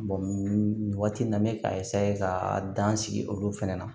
nin waati in na n be ka ka dan sigi olu fɛnɛ na